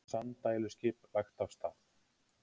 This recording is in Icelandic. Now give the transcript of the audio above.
Sanddæluskip lagt af stað